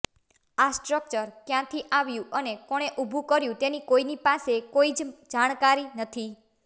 આ સ્ટ્રકચર કયાંથી આવ્યું અને કોણે ઉભુ કર્યું તેની કોઈની પાસે કોઈ જ જાણકારી નથી